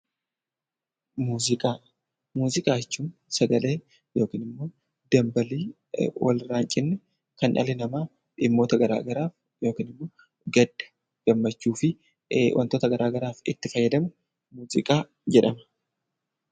Muuziqaa jechuun sagalee yookiin dambalii walirraa hin cinne kan dhalli namaa dhimmoota garaagaraaf gadda, gammachuu fi wantoota garaagaraaf itti fayyadamu muuziqaa jedhama.